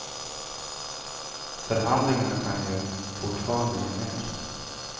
Förhandlingarna kan ju fortfarande ge mer.